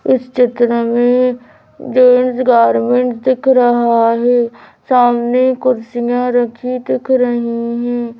इस चित्र में एक जेंट्स गारमेंट दिख रहा है सामने कुर्सियाँ रखी दिख रही हैं --